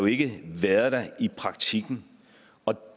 ikke været der i praktikken og